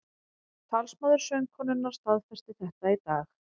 Talsmaður söngkonunnar staðfesti þetta í dag